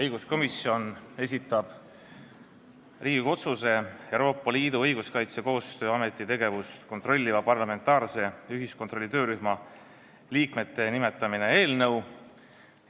Õiguskomisjon esitab Riigikogu otsuse "Euroopa Liidu Õiguskaitsekoostöö Ameti tegevust kontrolliva parlamentaarse ühiskontrolli töörühma liikmete nimetamine" eelnõu.